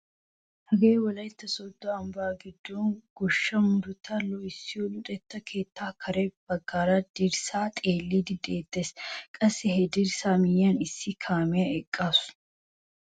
Hagee wolaytta sooddo ambbaa giddon gooshshaa murutabaa loohissiyaa luxetta keettaa kare bagga dirssaa xeelliiddi de'eettes. qassi he dirssaa miyiyaan issi kaamiyaa eqqaasu.